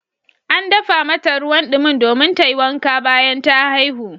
An dafa mata ruwan dimin domin ta yi wanka bayan ta haihu.